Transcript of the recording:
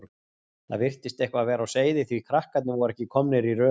Það virtist eitthvað vera á seyði því að krakkarnir voru ekki komnir í röð.